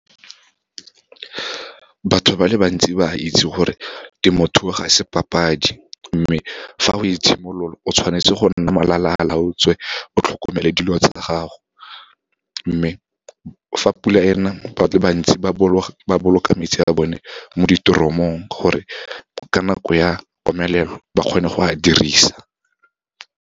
Batho ba le bantsi ba itse gore temothuo ga se papadi, mme fa o e simolola, o tshwanetse go nna molala a laotswe, o tlhokomele dilo tsa gago. Mme fa pula ena, ba le bantsi ba boloka metsi a bone mo ditoromong, gore ka nako ya komelelo ba kgone go a dirisa.